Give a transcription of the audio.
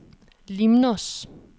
Limnos